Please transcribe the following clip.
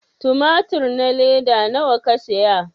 tumatur na leda nawa ka saya?